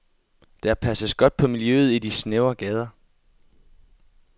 Der passes godt på miljøet i de snævre gader.